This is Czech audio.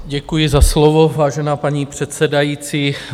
Děkuji za slovo, vážená paní předsedající.